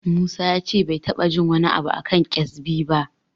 Musa ya ce bai taɓa jin wani abu a kan ƙyezbi ba.